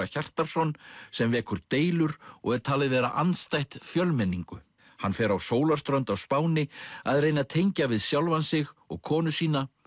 Hjartarson sem vekur deilur og er talið vera andstætt fjölmenningu hann fer á sólarströnd á Spáni að reyna að tengja við sjálfan sig og konu sína